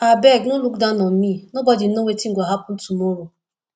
abeg no look down on me nobody know wetin go happen tomorrow